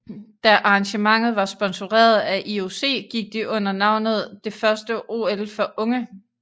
Da arrangementet var sponsoreret af IOC gik de under navnet det første OL for unge